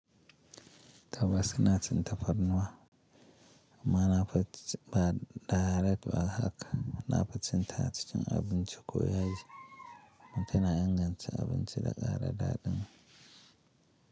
Tabbas ina cin tafarnuwa, amma na fi ci ba direct ba haka. Na fi cin ta cikin abinci koyaye. Kuma tana na inganta abinci da ƙara daɗin.